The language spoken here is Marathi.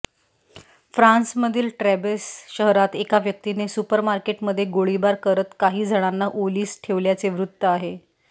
फ्रान्समधील ट्रेबेस शहरात एका व्यक्तीने सुपरमार्केटमध्ये गोळीबार करत काही जणांना ओलीस ठेवल्याचे वृत्त आहे